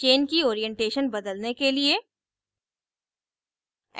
chain की orientation बदलने के लिए